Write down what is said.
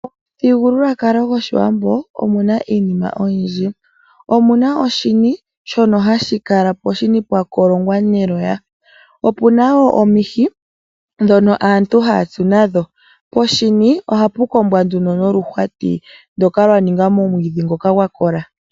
Momuthigululwakalo gOshiwambo omu na iinima oyindji. Omu na oshini, shono hashi kolongwa neloya, opu na wo omihi ndhoka aantu haya tsu nadho. Poshini ohapu kombwa noluhwati ndoka lwa ningwa momwiidhi ngoka gwa kola.